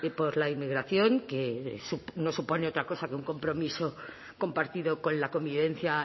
por la inmigración que no supone otra cosa que un compromiso compartido con la convivencia